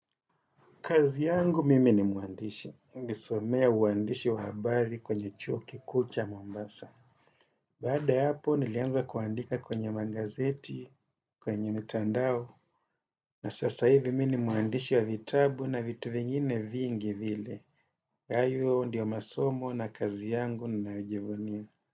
Kazi yangu mimi ni mwandishi. Nilisomea uandishi wa habari kwenye chuo kikuu cha Mombasa. Baada ya hapo nilianza kuandika kwenye magazeti, kwenye mitandao. Na sasa hivi mimi mwandishi wa vitabu na vitu vingine vingi vile. Hayo ndio masomo na kazi yangu ninayojivunia.